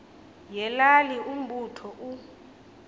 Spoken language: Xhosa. yelali umbutho u